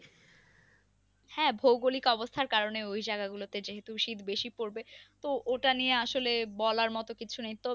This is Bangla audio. হ্যাঁ ভৌগোলিক অবস্থার কারণে ওই জায়গা গুলোতে যেহুতু শীত বেশি পরবে তো ওটার নিয়ে আসলে বলার মতন কিছু নেই তবে